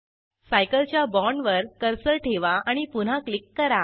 cycle च्या बाँडवर cursor ठेवा आणि पुन्हा क्लिक करा